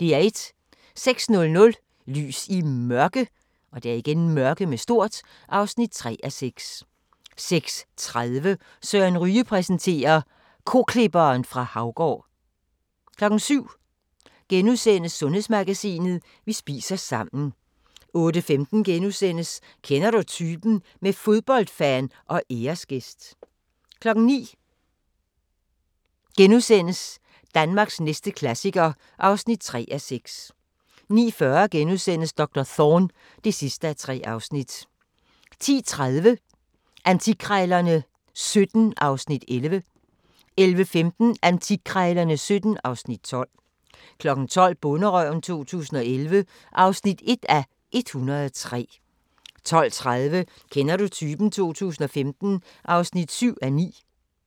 06:00: Lys i Mørke (3:6) 06:30: Søren Ryge præsenterer: Koklipperen fra Haugård 07:00: Sundhedsmagasinet: Vi spiser sammen * 08:15: Kender du typen? – med fodboldfan og æresgæst * 09:00: Danmarks næste klassiker (3:6)* 09:40: Doktor Thorne (3:3)* 10:30: Antikkrejlerne XVII (Afs. 11) 11:15: Antikkrejlerne XVII (Afs. 12) 12:00: Bonderøven 2011 (1:103) 12:30: Kender du typen? 2015 (7:9)